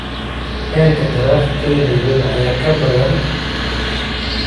heerka taraafikada nairobi ayaa ka badan